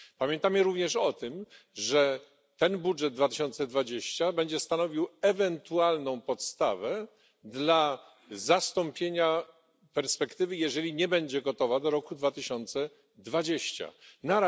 Pamiętamy również o tym, że ten budżet 2020 będzie stanowił ewentualną podstawę dla zastąpienia perspektywy, jeżeli nie będzie gotowa do 2020 r.